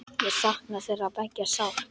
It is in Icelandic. Ég sakna þeirra beggja sárt.